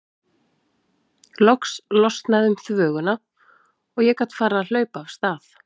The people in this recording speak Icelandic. Loks losnaði um þvöguna og ég gat farið að hlaupa af stað.